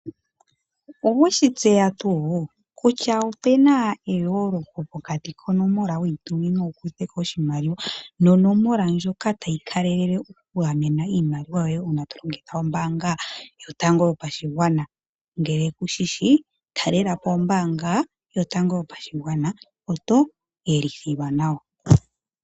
Oweshi tseya tuu kutya opena eyooloko pokati konomola weyi tumina oshimaliwa nonomola ndjoka tayi kalele uuna